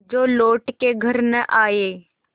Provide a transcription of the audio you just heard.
जो लौट के घर न आये